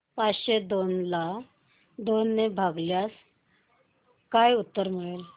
पाचशे दोन ला दोन ने भागल्यास काय उत्तर मिळेल